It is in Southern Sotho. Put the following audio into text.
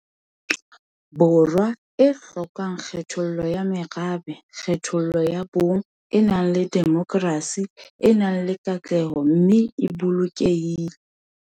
Borwa e hlokang kgethollo ya merabe, kgethollo ya bong, e nang le demokrasi, e nang le katleho mme e lokolohile.